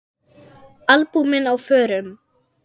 Albúmin á förum.